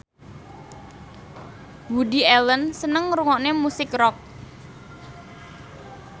Woody Allen seneng ngrungokne musik rock